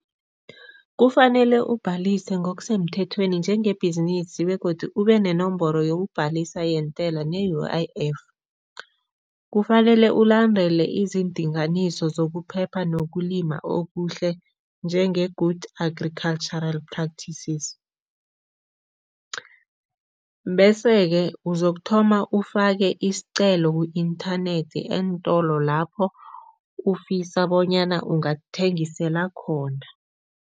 Kufanele ubhalise ngokusemthethweni njengebhizinisi begodu ube nenomboro yokuyokubhalisa nentela ne-U_I_F. Kufanele ulandele izindinganiso zokuphepha nokulima okuhle, njenge-good agricultural practices, bese-ke uzokuthoma ufake isicelo ku-inthanethi eentolo lapho ufisa bona ungathengisela khona.